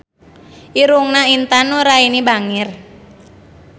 Irungna Intan Nuraini bangir